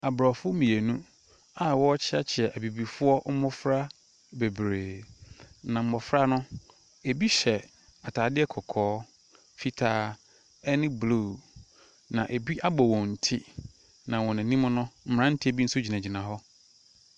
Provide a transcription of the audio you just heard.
Abrɔfo mmienu aa wɔɔkyiakyia ebibifoɔ mmɔfra bebree. Na mmɔfra no ebi hyɛ ataadeɛ kɔkɔɔ, fitaa ɛne blu. Na ebi abɔ wɔn ti, na wɔn anim no mmranteɛ bi nso gyinagyina hɔ.